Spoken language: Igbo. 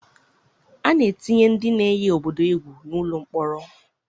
A na-etinye ndị na-eyi obodo egwu n'ụlọ mkpọrọ.